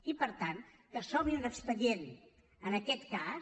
i per tant que s’obri un expedient en aquest cas